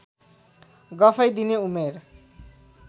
गफै दिने उमेर